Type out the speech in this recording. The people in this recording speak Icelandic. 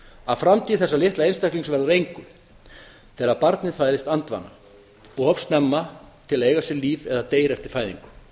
að framtíð þessa litla einstaklings verður að engu þegar barnið fæðist andvana of snemma til að eiga sér líf eða deyr eftir fæðingu